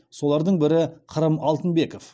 солардың бірі қырым алтынбеков